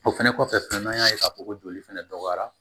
O fɛnɛ kɔfɛ fɛnɛ n'an y'a ye k'a fɔ ko joli fɛnɛ dɔgɔyara